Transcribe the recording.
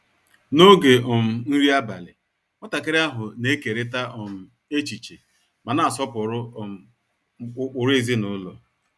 N’oge um nri abalị, nwatakịrị ahụ na-ekeriita um echiche ma na-asọpụrụ um ụkpụrụ ezinụlọ.